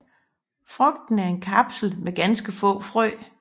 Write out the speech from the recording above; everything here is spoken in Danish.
Frugten er en kapsel med ganske få frø